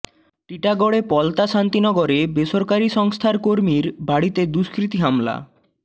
টিটাগড়ের পলতা শান্তিনগরে বেসরকারি সংস্থার কর্মীর বাড়িতে দুষ্কৃতী হামলা